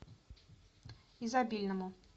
изобильному